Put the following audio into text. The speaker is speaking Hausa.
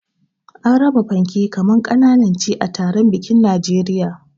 Ana raba panke kaman kananan chi a taron bikin Najeriya.